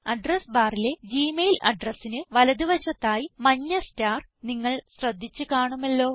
address barലെ Gmail അഡ്രസിന് വലത് വശത്തായി മഞ്ഞ സ്റ്റാർ നിങ്ങൾ ശ്രദ്ധിച്ച് കാണുമല്ലോ